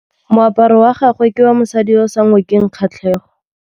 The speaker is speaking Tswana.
Moaparô wa gagwe ke wa mosadi yo o sa ngôkeng kgatlhegô.